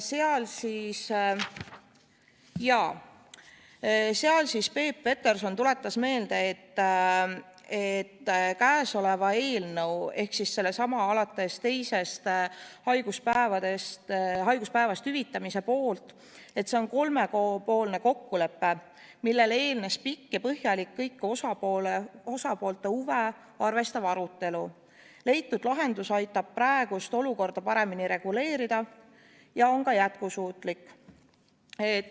Ja seal Peep Peterson tuletas meelde, et käesolev eelnõu ehk alates teisest haiguspäevast hüvitamise eelnõu põhineb kolmepoolsel kokkuleppel, millele eelnes pikk ja põhjalik kõiki osapoolte huve arvestav arutelu, ning leitud lahendus aitab praegust olukorda paremini reguleerida ja on ka jätkusuutlik.